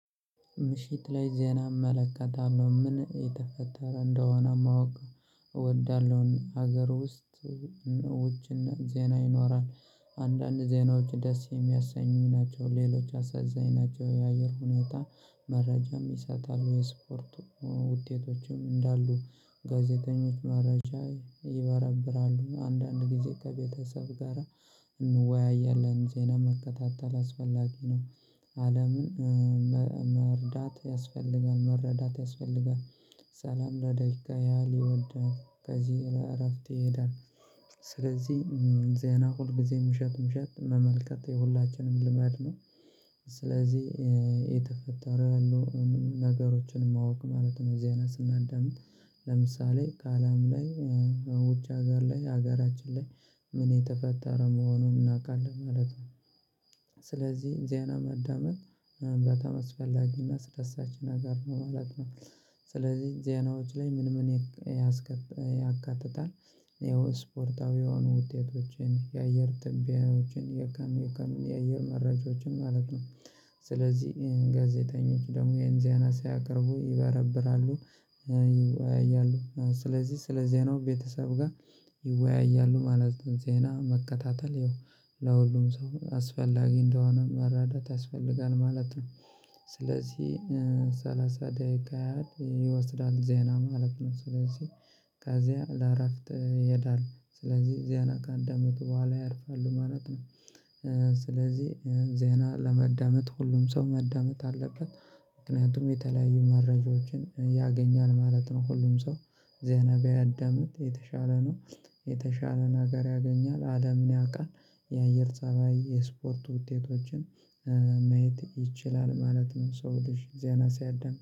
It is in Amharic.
ምሽት ላይ ዜና እመለከታለሁ ምን የተፈጠረ እንደሆነ ማወቅ እወዳለሁን? ሀገር ውስጥ ውጭና ዜና ይኖራል። አንዳንድ ዜናዎች ደስ የሚያሰኙኝ ናቸው ሌሎች አሳዛኝ ናቸው። የአየር ሁኔታ መረጃም ይሰጣሉ የስፖርቱ ውጤቶችም እንዳሉ ጋዜጠኞች መረጃ ይበረብራሉ አንዳንድ ጊዜ ከቤተሰብ ጋራ እንወያያለን ዜና መከታተል አስፈላጊ ነው። አለምን መርዳት ያስፈልጋል መረዳት ያስፈልጋል። ሰላም ለደቂቃ ያህል ይወዳል ከዚህ እረፍት ይሄዳል። ስለዚህ ዜና ሁልጊዜም ምሸት ምሸት መመልከት የሁላችንም ልማድ ነው። ስለዚህ የተፈጠረው ያሉ ነገሮችን ማወቅ ማለት ነው። ዜና ስናዳምጥ ለምሳሌ ከአለም ላይ ውጭ ሀገር ላይ ሀገራችን ላይ ምን የተፈጠረ መሆኑን እናውቃለን ማለት ነው። ስለዚህ ዜና መዳመጥ በጣም አስፈላጊና አስደሳች ነገር ነው ማለት ነው። ስለዚህ ዜናዎች ላይ ምን ምን ያካትታል? ይኸው የስፖርታዊው ውጤቶችን የአየር ትንበያዎችን የካኑ የካኑ የአየር መራጃዎችን ማለት ነው። ስለዚህ ጋዜጠኞች ደግሞ ይህን ዜና ስያቀርቡ ይበረብራሉ። ይወያያሉ ስለዚህ ስለዚህ ዜናው ቤተሰብ ጋር ይወያያሉ ማለትም ዜና መከታተል ይኸው ለሁሉም ሰው አስፈላጊ እንደሆነ መረዳት ያስፈልጋል ማለት ነው። ስለዚህ ሰላሳ ደቂቃ ያህል ይወስዳል ዜና ማለት ነው ስለዚህ ከዚያ ለእረፍት ይሄዳል ስለዚህ ዜና ከአዳመጡ በኋላ ያርፋሉ ማለት ነው። ስለዚህ ዜና ለመዳመጥ ሁሉም ሰው ማዳመጥ አለበት ምክንያቱም የተለያዩ መረጃዎችን ያገኛል ማለት ነው። ሁሉም ሰው ዜና ቢያዳምጥ የተሻለ ነው። የተሻለ ነገር ያገኛል አለምን ያቃል የአየር ፀባይ የስፖርት ውጤቶችን ማየት ይችላል ማለት ነው። ሰው ልጅ ዜና ሲያዳምጥ